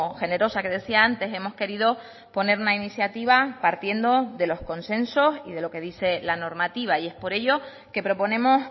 generosa que decía antes hemos querido poner una iniciativa partiendo de los consensos y de lo que dice la normativa y es por ello que proponemos